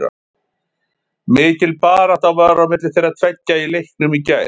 Mikil barátta var á milli þeirra tveggja í leiknum í gær.